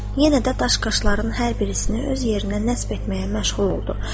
Yenə də daş qaşların hər birisini öz yerinə nəsb etməyə məşğul oldu.